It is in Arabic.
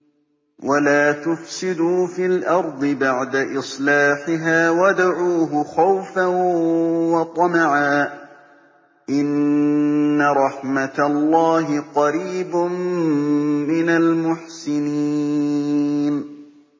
وَلَا تُفْسِدُوا فِي الْأَرْضِ بَعْدَ إِصْلَاحِهَا وَادْعُوهُ خَوْفًا وَطَمَعًا ۚ إِنَّ رَحْمَتَ اللَّهِ قَرِيبٌ مِّنَ الْمُحْسِنِينَ